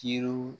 Kiriw